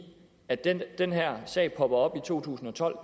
at da den her sag popper op i to tusind og tolv